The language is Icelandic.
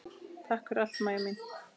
Takk fyrir allt, Maja mín.